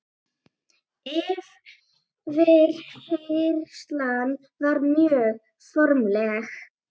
Yfirheyrslan var mjög formleg.